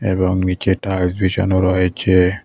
এবং নীচে টাইলস বিছানো রয়েছে।